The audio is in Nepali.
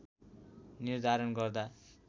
निर्धारण गर्दा